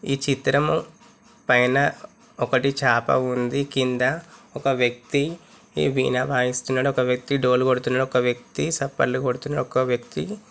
ఈ చిత్రం పైన ఒకటి చాప ఉంది కింద ఒక వ్యక్తి ఈ వీణ వాయిస్తున్నాడు ఒక వ్యక్తి ఒక డోలు కొడుతున్నాడు ఒక వ్యక్తి సప్పల్లు కొడుతున్నాడు ఒక వ్యక్తి --